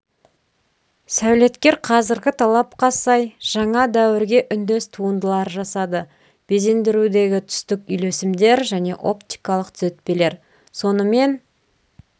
сәулеткер қазіргі талапқа сай жаңа дәуірге үндес туындылар жасады безендірудегі түстік үйлесімдер және оптикалық түзетпелер сонымен